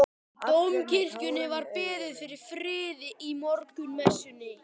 Í Dómkirkjunni var beðið fyrir friði í morgunmessunni.